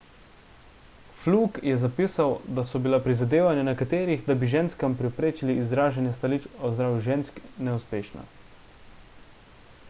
fluke je zapisal da so bila prizadevanja nekaterih da bi ženskam preprečili izražanje stališč o zdravju žensk neuspešna